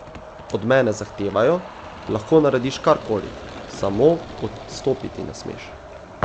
Od mene zahtevajo, lahko narediš kar koli, samo odstopiti ne smeš.